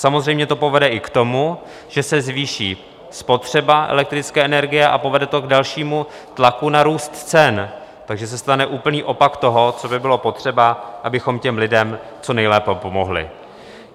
Samozřejmě to povede i k tomu, že se zvýší spotřeba elektrické energie, a povede to k dalšímu tlaku na růst cen, takže se stane úplný opak toho, co by bylo potřeba, abychom těm lidem co nejlépe pomohli.